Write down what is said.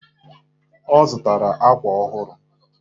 Ọ zụtara akwa ọhụrụ